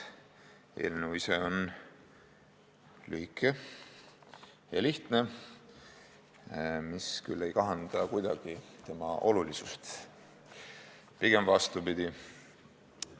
Eelnõu ise on lühike ja lihtne, mis küll ei kahanda kuidagi tema olulisust, pigem vastupidi.